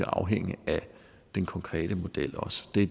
afhænge af den konkrete model